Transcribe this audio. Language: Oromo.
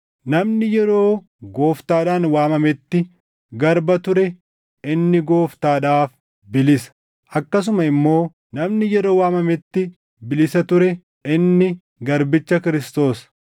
Namni yeroo Gooftaadhaan waamametti garba ture inni gooftaadhaaf bilisa; akkasuma immoo namni yeroo waamametti bilisa ture inni garbicha Kiristoos.